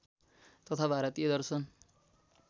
तथा भारतीय दर्शन